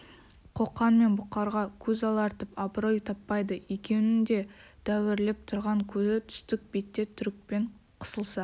қоқан мен бұқарға көз алартып абырой таппайды екеуінің де дәуірлеп тұрған кезі түстік бетте түрікпен қысылса